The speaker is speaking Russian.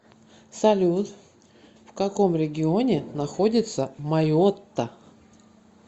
салют в каком регионе находится майотта